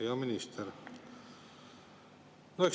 Hea minister!